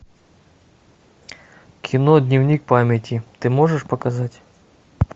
кино дневник памяти ты можешь показать